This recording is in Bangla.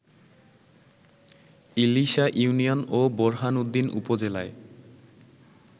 ইলিশা ইউনিয়ন ও বোরহানউদ্দিন উপজেলায়